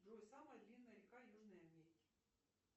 джой самая длинная река южной америки